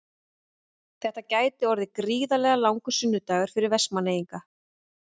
Þetta gæti orðið gríðarlega langur sunnudagur fyrir Vestmannaeyinga.